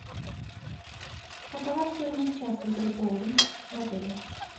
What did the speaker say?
какова стоимость часа игры в боулинг в отеле